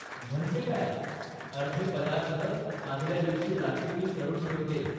म्हणजे काय, अर्धे पदार्थ आदल्या दिवशी रात्री मी करून ठेवते.